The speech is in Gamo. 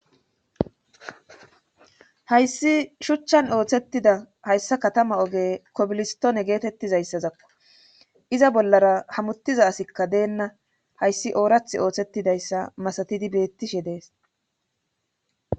hayssi shuchchan ooththettida hayssa katama oge kobilistoone geetettizayssazakko iza bollara hamuttiza asikka deenna hayssi oorath oothettidayssa masatidi beettishe dees